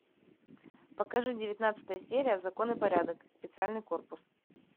покажи девятнадцатая серия закон и порядок специальный корпус